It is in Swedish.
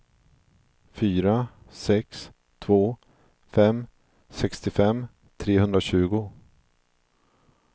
fyra sex två fem sextiofem trehundratjugo